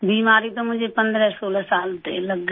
बीमारी तो मुझे 1516 साल से ही लग गई